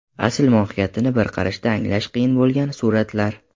Asl mohiyatini bir qarashda anglash qiyin bo‘lgan suratlar .